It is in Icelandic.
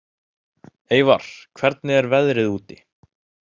Eyvar, hvernig er veðrið úti?